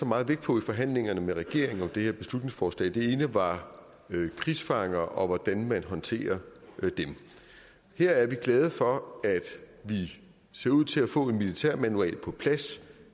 meget vægt på i forhandlingerne med regeringen om det her beslutningsforslag det ene var krigsfanger og hvordan man håndterer dem her er vi glade for at det ser ud til at man få en militærmanual på plads